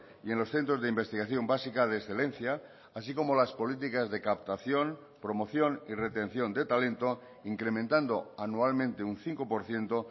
y en los centros de investigación básica de excelencia así como las políticas de captación promoción y retención de talento incrementando anualmente un cinco por ciento